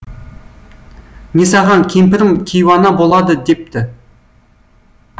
несағаң кемпірім кейуана болады депті